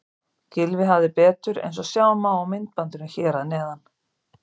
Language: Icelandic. Gylfi hafði betur eins og sjá má í myndbandinu hér að neðan.